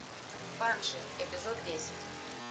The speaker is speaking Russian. банши эпизод десять